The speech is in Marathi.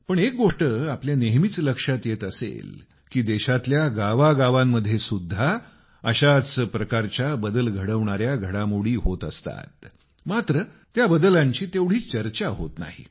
पण एक गोष्ट आपल्या नेहमीच लक्षात येत असेल की देशातल्या गावागावांमध्ये सुद्धा अशाच प्रकारच्या बदल घडवणाऱ्या घडामोडी होत असतात मात्र त्या बदलांची तेवढी चर्चा होत नाही